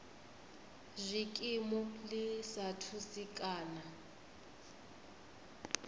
zwikimu ḽi sa thusi kana